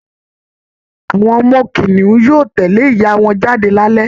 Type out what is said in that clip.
Awọn ọmọ kìnìún yóò tẹ̀lé ìyá wọn jáde lálẹ́